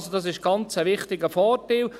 Also, das ist ein ganz wichtiger Vorteil.